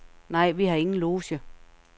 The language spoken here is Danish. Nej, vi har ingen loge.